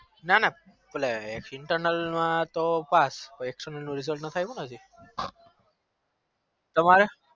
નાના internal માં તો pass પઈ external result નાખાવેયું આજે તમારે